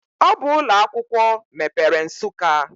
Ọ bụ ụlọ akwụkwọ mepere Nsukka.